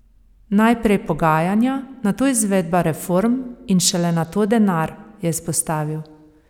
Najprej pogajanja, nato izvedba reform in šele nato denar, je izpostavil.